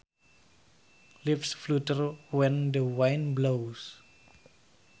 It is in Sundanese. Leaves flutter when the wind blows